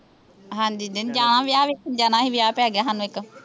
ਹਾਂਜੀ ਨਹੀਂ ਜਾਣਾ ਵਿਆਹ ਵੇਖਣ ਜਾਣਾ ਵਿਆਹ ਪੈ ਗਿਆ ਸਾਨੂੰ ਇੱਕ